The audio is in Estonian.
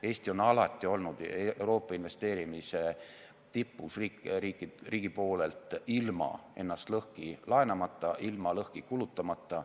Eesti on alati olnud Euroopa investeerimise tipus riigi poolelt ilma ennast lõhki laenamata, ilma lõhki kulutamata.